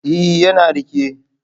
Ee, yana riƙe.